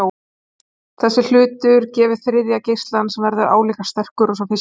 Þessi hluti gefur þriðja geislann sem verður álíka sterkur og sá fyrsti.